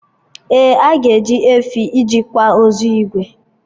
Ee, aga eji efi iri kwa ozu Igwe